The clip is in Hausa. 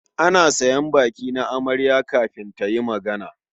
Ana sayan baki na amarya kafin ta yi magana.